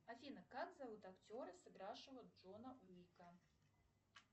афина как зовут актера сыгравшего джона уика